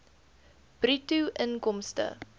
bruto inkomste